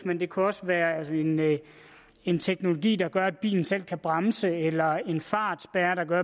men det kunne også være en teknologi der gør at bilen selv kan bremse eller en fartspærre